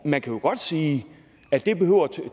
man kan jo godt sige at